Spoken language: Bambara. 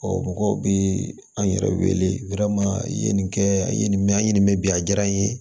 mɔgɔw bɛ an yɛrɛ wele i ye nin kɛ a ye nin mɛn a ye nin mɛ bi a diyara n ye